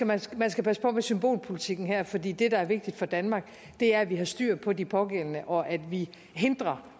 man skal man skal passe på med symbolpolitikken her fordi det der er vigtigt for danmark er at vi har styr på de pågældende og at vi hindrer